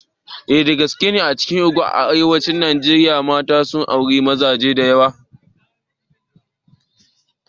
Eh gaskiya ne, a cikin Irigwe na arewacin Najeriya, mata sun auri mazaje da yawa.